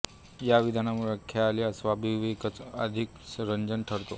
या विविधतेमुळे ख्याल हा स्वाभाविकच अधिक रंजक ठरतो